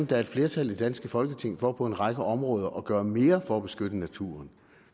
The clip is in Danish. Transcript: der er et flertal i det danske folketing for på en række områder at gøre mere for at beskytte naturen